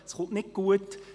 Es endet nicht gut.